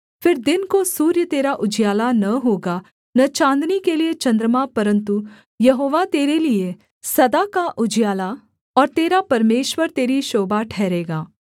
फिर दिन को सूर्य तेरा उजियाला न होगा न चाँदनी के लिये चन्द्रमा परन्तु यहोवा तेरे लिये सदा का उजियाला और तेरा परमेश्वर तेरी शोभा ठहरेगा